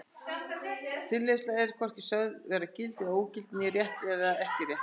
Tilleiðsla er er hvorki sögð vera gild eða ógild né rétt eða ekki rétt.